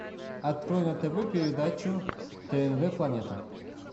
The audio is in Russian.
открой на тв передачу тнв планета